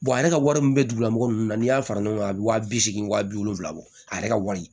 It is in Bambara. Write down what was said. ale ka wari min bɛ dugu nunnu na n'i y'a fara ɲɔgɔn kan a bɛ wa bi segin wa bi wolonwula bɔ a yɛrɛ ka wari